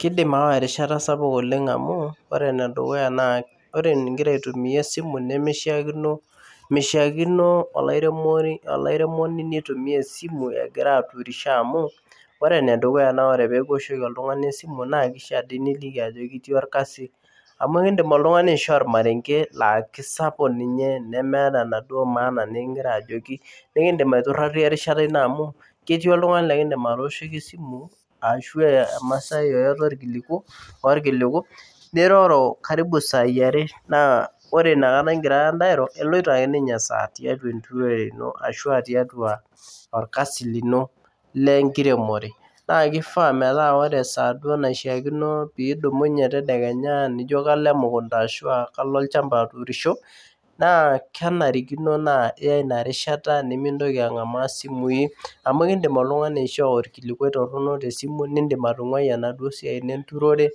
Kidim aawa erishata sapuk oleng' amu ore enedukuya, naa ore nigira aitumia esimu nemeishiakino meishiakino olairemoni neitumia esimu egira aturisho amu ore enedukuya naa ore pekiwoshoki oltung'ani esimu naa kishia dii niliki ajoki itii orkasi amu ekindim oltung'ani aishoo ormarenge laa kisapuk ninye nemeeta enaduo maana nikingira ajoki nekindim aiturrarie erishata ino amu ketii oltung'ani lekindim atoshoki esimu ashu emasai yeyote orkiliku niroro karibu isai are naa ore inakata ingirara ntae airo eloito ake ninye esaa tiatua enturore ino ashu tiatua orkasi lino lenkiremore naa kifaa metaa ore esaa duo naishiakino pidumunye tedakenya nijo kalo emukunta ashua kalo olchamba aturisho naa kenarikino naa iya ina rishata nemintoki ang'amaa isimui amu ekindim oltung'ani aishoo orkilikuai torrono tesimu nindim atung'ua enaduo siai ino enturore